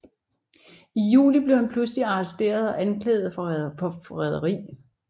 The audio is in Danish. I juli blev han pludselig arresteret og anklaget for forræderi